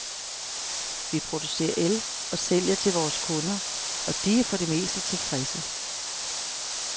Vi producerer el og sælger til vores kunder, og de er for det meste tilfredse.